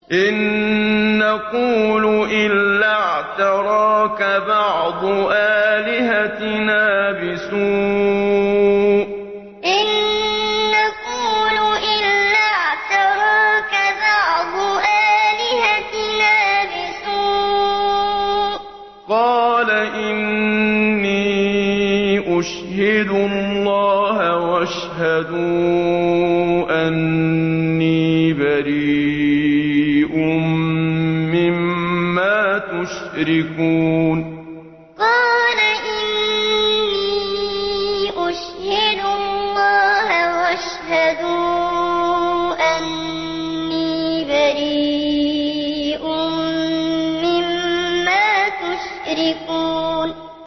إِن نَّقُولُ إِلَّا اعْتَرَاكَ بَعْضُ آلِهَتِنَا بِسُوءٍ ۗ قَالَ إِنِّي أُشْهِدُ اللَّهَ وَاشْهَدُوا أَنِّي بَرِيءٌ مِّمَّا تُشْرِكُونَ إِن نَّقُولُ إِلَّا اعْتَرَاكَ بَعْضُ آلِهَتِنَا بِسُوءٍ ۗ قَالَ إِنِّي أُشْهِدُ اللَّهَ وَاشْهَدُوا أَنِّي بَرِيءٌ مِّمَّا تُشْرِكُونَ